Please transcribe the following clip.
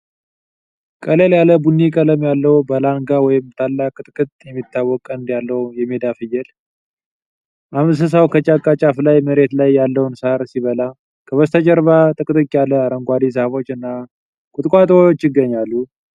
ቀለል ያለ ቡኒ ቀለም ያለው በላንጋ ወይም ታላቅ ቅጥቅጥ የሚታወቅ ቀንድ ያለው የሜዳ ፍየል ። እንስሳው ከጫካ ጫፍ ላይ መሬት ላይ ያለውን ሳር ሲበላ ። ከበስተጀርባ ጥቅጥቅ ያሉ አረንጓዴ ዛፎች እና ቁጥቋጦዎች ይገኛሉ።